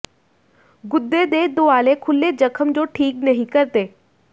ਗੁਦੇ ਦੇ ਦੁਆਲੇ ਖੁਲ੍ਹੇ ਜ਼ਖਮ ਜੋ ਠੀਕ ਨਹੀਂ ਕਰਦੇ